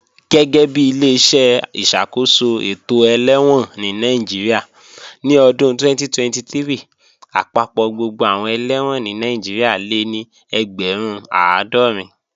Gẹ́gẹ́bi Ileṣẹ́ ìṣàkóso ètò ẹlẹ́wọ̀n ní Nàìjíríà, ní ọdún 2023, àpapọ̀ gbogbo àwọn ẹlẹ́wọ̀n ní Nàìjíríà lé ní ẹgbẹ̀rún àádọ́rin